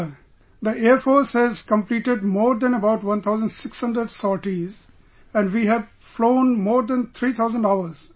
Sir, the Air force has completed more than about 1600 sorties and we have flown more than 3000 hours